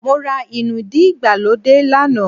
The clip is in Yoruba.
Mó rá inúdí ìgbàlódé lánàá